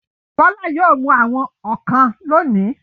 Bọ́lá yóò mú àwọn ọ̀kàn lónìí.